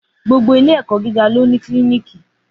Gbogbo ìlé ẹkọ gígà ló ní Kílìníkì